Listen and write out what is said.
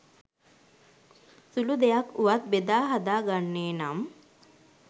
සුළු දෙයක් වුවත් බෙදා හදා ගන්නේ නම්